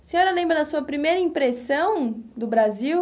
A senhora lembra da sua primeira impressão do Brasil?